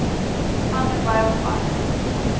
vanderbijilpark